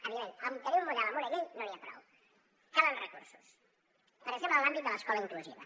òbviament amb tenir un model amb una llei no n’hi ha prou calen recursos per exemple en l’àmbit de l’escola inclusiva